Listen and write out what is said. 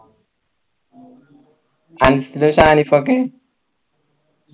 Ansal ഷാനിഫൊക്കെ